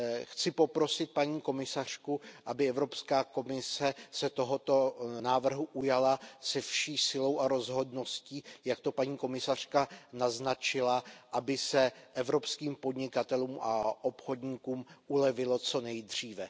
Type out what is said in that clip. Chci poprosit paní komisařku, aby se Evropská komise tohoto návrhu ujala se vší silou a rozhodností, jak to paní komisařka naznačila, aby se evropským podnikatelům a obchodníkům ulevilo co nejdříve.